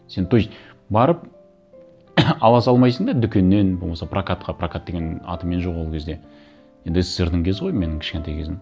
сен то есть барып ала салмайсың да дүкеннен болмаса прокатқа прокат деген атымен жоқ ол кезде енді ссср дің кезі ғой менің кішкентай кезім